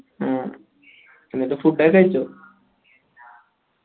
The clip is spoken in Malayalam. ആ എന്നിട്ട് food ഒക്കെ കഴിച്ചോ